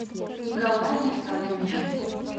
николай александрович